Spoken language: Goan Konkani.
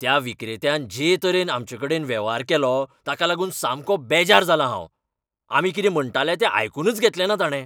त्या विक्रेत्यान जे तरेन आमचेकडेन वेव्हार केलो ताका लागून सामकों बेजार जालां हांव. आमी कितें म्हणटाले तें आयकूनच घेतलेंना ताणें.